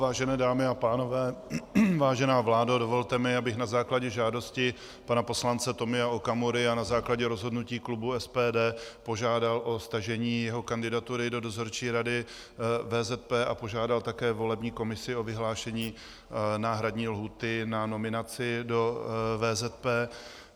Vážené dámy a pánové, vážená vládo, dovolte mi, abych na základě žádosti pana poslance Tomia Okamury a na základě rozhodnutí klubu SPD požádal o stažení jeho kandidatury do Dozorčí rady VZP a požádal také volební komisi o vyhlášení náhradní lhůty na nominaci do VZP.